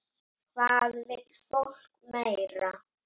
Hvað vill fólk meira?